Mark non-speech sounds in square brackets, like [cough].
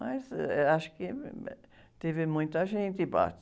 Mas, ãh, eh, acho que [unintelligible] teve muita gente e [unintelligible]